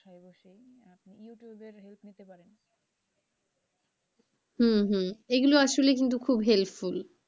হম হম এইগুলো আসলেই কিন্তু খুব helpful,